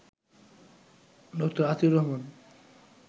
ড. আতিউর রহমান